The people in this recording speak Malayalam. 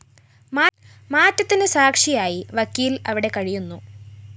മാറ്റത്തിന്‌ സാക്ഷിയായി വക്കീല്‍ അവിടെ കഴിയുന്നു